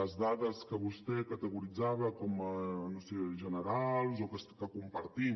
les dades que vostè categoritzava com a no ho sé generals que compartim